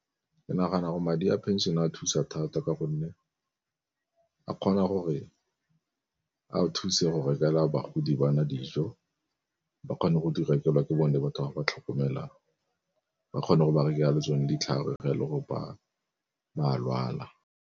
Ke nagana gore madi a pension a thusa thata, ka gonne a kgona gore a thuse go rekele a bagodi ba na dijo ba kgone go di rekelwa ke bone batho ba ba tlhokomelang ba kgone go berekela le tsone ditlhare le go ba a lwala.